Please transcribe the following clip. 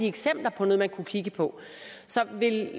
et eksempel på noget man kunne kigge på så vil